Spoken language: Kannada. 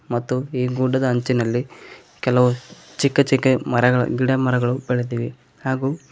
ಮತ್ತು ಈ ಫೋಟೋ ದ ಅಂಚಿನಲ್ಲಿ ಕೆಲವು ಚಿಕ್ಕ ಚಿಕ್ಕ ಮರಗಳು ಗಿಡ ಮರಗಳು ಬೆಳೆದಿವೆ ಹಾಗೂ.